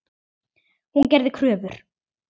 Hún gerði kröfur.